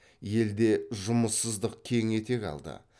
елде жұмыссыздық кең етек алды